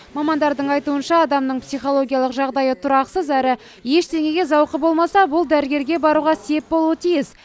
мамандардың айтуынша адамның психологиялық жағдайы тұрақсыз әрі ештеңеге зауқы болмаса бұл дәрігерге баруға сеп болуы тиіс